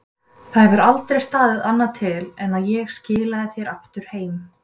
Það hefur aldrei staðið annað til en að ég skilaði þér aftur heim.